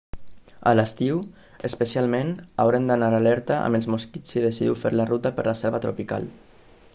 a l'estiu especialment haureu d'anar alerta amb els mosquits si decidiu fer ruta per la selva tropical